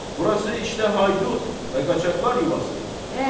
Burası işdə haydut və qaçaqlar yuvası.